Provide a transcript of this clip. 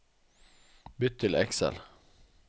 Bytt til Excel